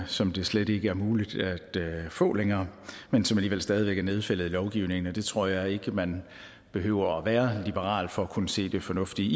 som det slet ikke er muligt at få længere men som alligevel stadig væk er nedfældet i lovgivningen og jeg tror ikke man behøver at være liberal for at kunne se det fornuftige